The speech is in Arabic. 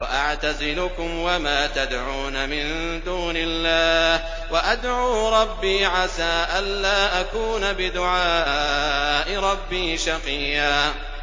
وَأَعْتَزِلُكُمْ وَمَا تَدْعُونَ مِن دُونِ اللَّهِ وَأَدْعُو رَبِّي عَسَىٰ أَلَّا أَكُونَ بِدُعَاءِ رَبِّي شَقِيًّا